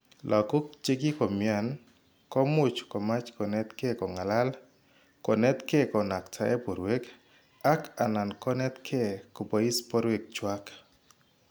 Lagok che kikomny'an ko much komach konetke ko ng'alal, konetke konaktae borwek, ak anan konetke kobois borwek chwak.